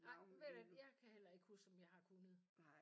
Ej men ved du hvad jeg kan heller ikke huske om jeg har kunnet